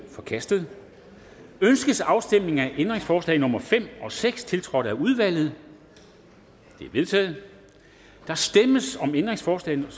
er forkastet ønskes afstemning af ændringsforslag nummer fem og seks tiltrådt af udvalget de er vedtaget der stemmes om ændringsforslag